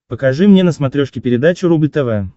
покажи мне на смотрешке передачу рубль тв